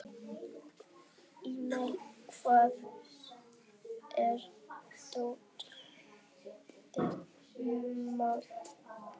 Elmar, hvar er dótið mitt?